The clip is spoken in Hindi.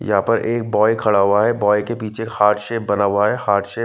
यहां पर एक बॉय खड़ा हुआ है बॉय के पीछे एक हार्ट शेप बना हुआ है हार्ट शेप --